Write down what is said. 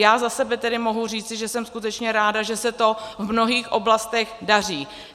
Já za sebe tedy mohu říci, že jsem skutečně ráda, že se to v mnohých oblastech daří.